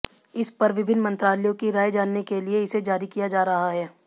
इस पर विभिन्न मंत्रालयों की राय जानने के लिए इसे जारी किया जा रहा है